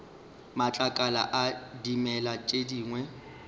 matlakala a dimela tše dingwe